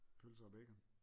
Pølser og bacon